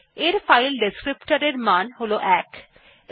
এর ফাইল বর্ণনাকারীর মান ১